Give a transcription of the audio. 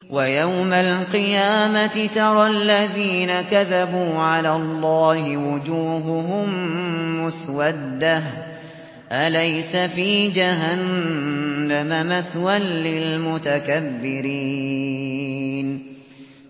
وَيَوْمَ الْقِيَامَةِ تَرَى الَّذِينَ كَذَبُوا عَلَى اللَّهِ وُجُوهُهُم مُّسْوَدَّةٌ ۚ أَلَيْسَ فِي جَهَنَّمَ مَثْوًى لِّلْمُتَكَبِّرِينَ